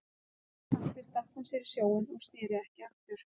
Að svo mæltu stakk hún sér í sjóinn og sneri ekki aftur.